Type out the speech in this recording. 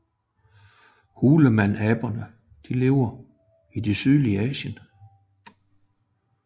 Hulmanaber lever i det sydlige Asien